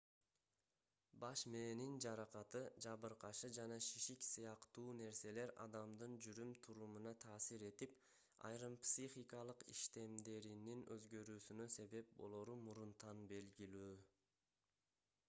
баш мээнин жаракаты жабыркашы жана шишик сыяктуу нерселер адамдын жүрүм-турумуна таасир этип айрым психикалык иштемдеринин өзгөрүүсүнө себеп болору мурунтан белгилүү